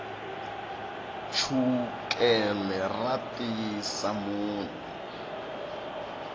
chukele ra tiyisa munhu